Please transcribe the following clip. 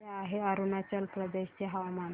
कसे आहे अरुणाचल प्रदेश चे हवामान